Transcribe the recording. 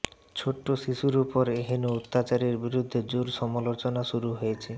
ছোট্ট শিশুর উপর এহেন অত্যাচারের বিরুদ্ধে জোর সমালোচনা শুরু হয়েছে